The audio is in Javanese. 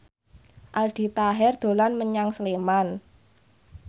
Aldi Taher dolan menyang Sleman